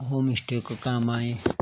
होमस्टे कु काम आयीं।